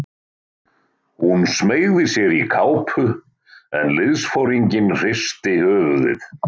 Hún smeygði sér í kápu en liðsforinginn hristi höfuðið.